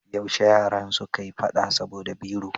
Yaushe yaran suka yi fada saboda biro?